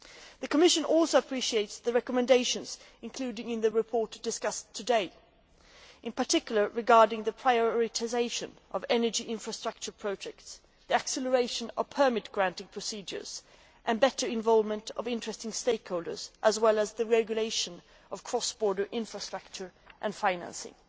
The Commission also appreciates the recommendations, including in the report discussed today, regarding the prioritisation of energy infrastructure projects, the acceleration of permit granting procedures and better involvement of interested stakeholders as well as the regulation of cross border infrastructure and financing.